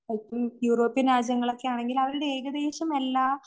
European രാജ്യങ്ങളോക്കെയാണെങ്കിൽ അവരുടെ ഏകദേശമെല്ലാം